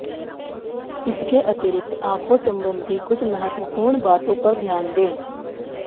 इसके अतिरिक्त आंखों संबंधी कुछ महत्वपूर्ण बातों पर ध्यान दें